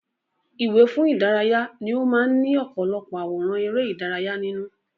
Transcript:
Ìwé fún ìdárayá ni ó máa ń ní ọ̀pọ̀lọpọ̀ àwòrán ère ìdárayá nínú